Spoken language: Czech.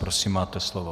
Prosím, máte slovo.